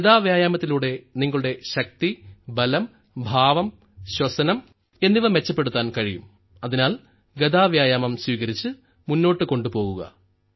ഗദാ വ്യായാമത്തിലൂടെ നിങ്ങളുടെ ശക്തി ബലം ഭാവം ശ്വസനം എന്നിവ മെച്ചപ്പെടുത്താൻ കഴിയും അതിനാൽ ഗദാ വ്യായാമം സ്വീകരിച്ച് മുന്നോട്ട് കൊണ്ടുപോകുക